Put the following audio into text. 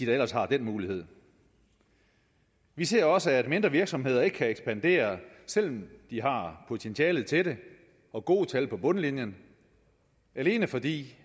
da ellers har den mulighed vi ser også at mindre virksomheder ikke kan ekspandere selv om de har potentialet til det og gode tal på bundlinjen alene fordi